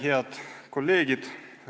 Head kolleegid!